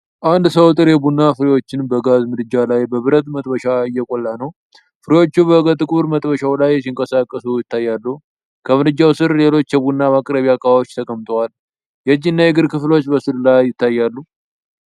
አንድ ሰው ጥሬ ቡና ፍሬዎችን በጋዝ ምድጃ ላይ በብረት መጥበሻ እየቆላ ነው። ፍሬዎቹ ከጥቁር መጥበሻው ላይ ሲንቀሳቀሱ ይታያሉ። ከምድጃው ስር ሌሎች የቡና ማቅረቢያ ዕቃዎች ተቀምጠዋል። የእጅ እና የእግር ክፍሎች በስዕሉ ላይ ይታያሉ።